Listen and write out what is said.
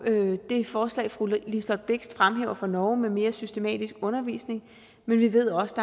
det forslag fru liselott blixt fremhæver fra norge med mere systematisk undervisning men vi ved også